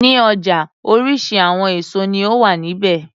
Ní ọjà oríṣi àwọn èso ní ó wà ní ibẹ̀.